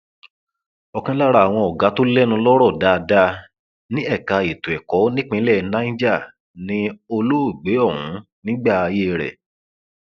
ọkan lára àwọn ọgá tó lẹnu lọrọ dáadáa ní ẹka ètò ẹkọ nípínlẹ niger ni olóògbé ọhún nígbà ayé rẹ